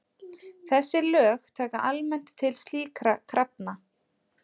Þessi lög taka almennt til slíkra krafna.